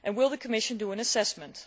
Will the Commission do an assessment?